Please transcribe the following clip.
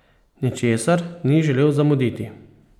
Ničesar ni želel zamuditi!